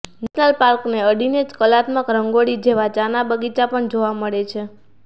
national પાર્કને અડીને જ કલાત્મક રંગોળી જેવા ચાના બગીચા પણ જોવા મળે છે